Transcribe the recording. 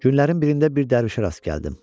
Günlərin birində bir dərvişə rast gəldim.